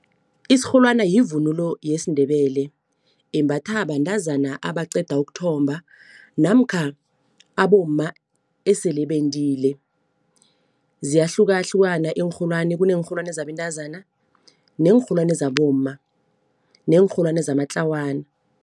Isirholwana yivunulo yesiNdebele embathwa bantazana abaqeda ukuthomba namkha abomma esele bendile. Ziyahlukahlukana iinrholwani kuneenrholwani zabentazana neenrholwane zabomma neenrholwane zamatlawana.